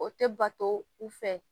O tɛ bato u fɛ